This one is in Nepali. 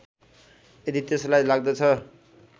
यदि त्यसलाई लाग्दछ